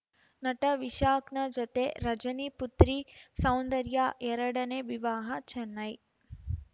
ನಟ ವಿಶಾಖ್ ನ ಜೊತೆ ರಜನಿ ಪುತ್ರಿ ಸೌಂದರ್ಯಾ ಎರಡನೇ ವಿವಾಹ ಚೆನ್ನೈ